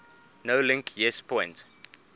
nolink yes point